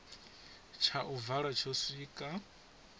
tsha u vala tsho swika